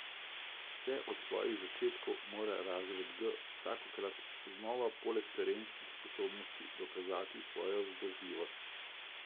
Vse od svojih začetkov mora razred G vsakokrat znova poleg terenskih sposobnosti dokazati svojo vzdržljivost.